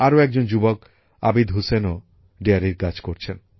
আরও একজন যুবক আবিদ হুসেনও দোহ বা ডেয়ারীর কাজ করছেন